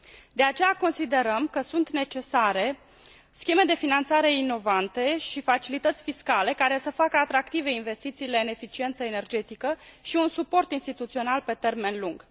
De aceea considerăm că sunt necesare scheme de finanțare inovante și facilități fiscale, care să facă atractive investițiile în eficiența energetică și un suport instituțional pe termen lung.